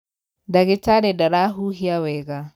ndagĩtarĩ ndarahuhia wega.